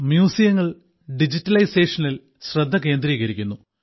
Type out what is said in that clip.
മ്യൂസിയങ്ങളിൽ ഡിജിറ്റലൈസേഷനിൽ ശ്രദ്ധ കേന്ദ്രീകരിക്കുന്നു